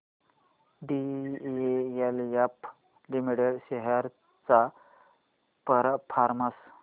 DLF limited shares चा performance